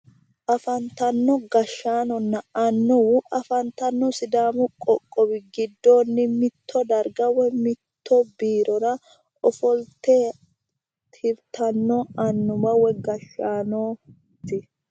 Afantanno gashaanonna annuwu afantanno sidaamu qoqqowi gidoonni mitto darga woy mitte biirora ofolite tiritanno anuwa woy gashaanooti.